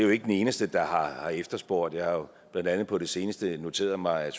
jo ikke den eneste der har har efterspurgt jeg har blandt andet på det seneste noteret mig